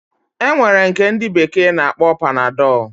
Enwere nke ndi bekee na akpọ panadol.